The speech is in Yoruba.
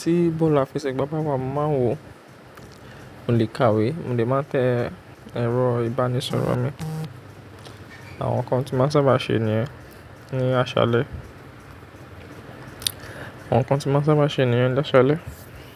Tí bọ́ọ̀lù afẹ̀ṣẹ́ gbá wa, màá wò ó, mo lè kàwé, mo lè máa tẹ ẹ̀rọ ìbánisọ̀rọ̀ mi. Àwọn nǹkan tí mo sábà ṣe nìyẹn ní àṣálẹ́. Àwọn nǹkan tí mo sábà ṣe nìyẹn ní àṣálẹ́.